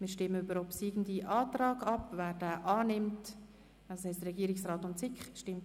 Zu Artikel 52 Absatz 3: Der Rückweisungsantrag Grüne/Machado wurde zurückgezogen.